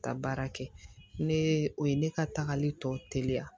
Ka baara kɛ ne o ye ne ka tagali tɔ teliya